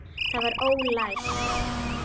Það var ólæst.